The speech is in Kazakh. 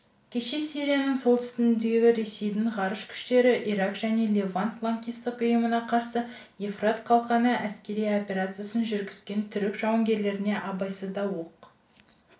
кеше сирияның солтүстігінде ресейдің ғарыш күштері ирак және левант лаңкестік ұйымына қарсы евфрат қалқаны әскери операциясын жүргізген түрік жауынгерлеріне абайсызда оқ